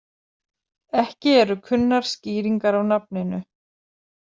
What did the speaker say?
Ekki eru kunnar skýringar á nafninu.